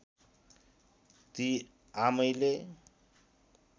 ती आमैले